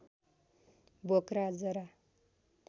बोक्रा जरा